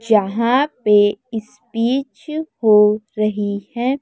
यहां पे स्पीच हो रही है।